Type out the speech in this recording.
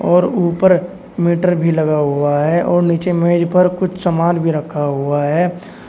और ऊपर मीटर भी लगा हुआ है और नीचे मेज पर कुछ सामान भी रखा हुआ है।